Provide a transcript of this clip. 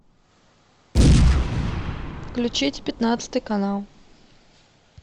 включить пятнадцатый канал